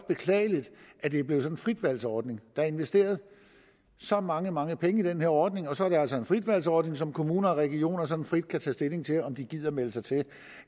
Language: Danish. beklageligt at det er blevet sådan en frit valg ordning der er investeret så mange mange penge i den her ordning og så er det altså en frit valg ordning som kommuner og regioner sådan frit kan tage stilling til om de gider at melde sig til